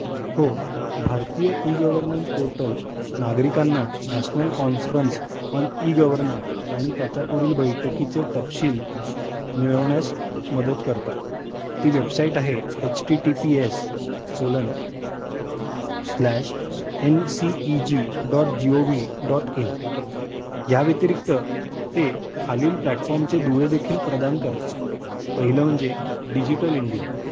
हो भारतीय e governance portal नागरिकांना नॅशनल कॉन्फरन्स ऑन ई-गव्हर्नन्स आणि त्याच्या पुढील बैठकीचे तपशील मिळवण्यास मदत करते. ती वेबसाईट आहे https:nceg.gov.in . या व्यतिरिक्त ते खालील प्लॅटफॉर्म चे दुवे देखील प्रदान करते. पाहिलं म्हणजे डिजिटल इंडिया.